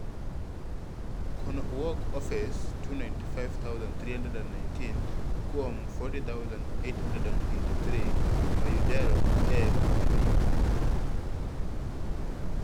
Kwanno owuok e ofise 295,319 kuom 40,883 mayudore e pinyno.